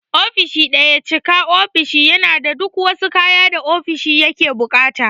Ofishin daya cika ofishi yana da duk wasu kaya da ofishin yake buƙata.